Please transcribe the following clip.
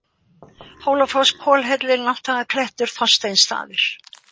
Hólafoss, Kollhellir, Nátthagaklettur, Þorsteinsstaðir